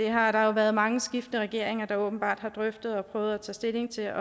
har været mange skiftende regeringer der åbenbart har drøftet og prøvet at tage stilling til